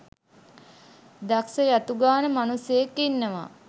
දක්ෂ යතු ගාන මනුස්සයෙක් ඉන්නවා